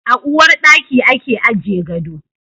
A uwar daki ake aje gado.